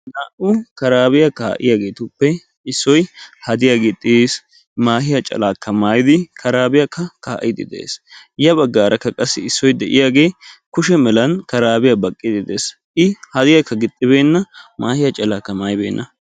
Naa"u karaabiya kaa'iyaageetuppe issoy hadiya gixxiis, maahiya calaakka maayidi karaabiyaakka kaa'iidi de'ees. ya baggaarakka qassi issoy de'iyaagee kushe malan karaabiya baqqiiddi de'ees. i hadiyaakka gixxibeenna maahiya calaakka maayibeenna.